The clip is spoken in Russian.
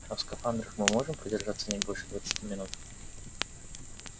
а в скафандрах мы можем продержаться не больше двадцати минут